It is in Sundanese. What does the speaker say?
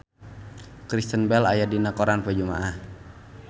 Kristen Bell aya dina koran poe Jumaah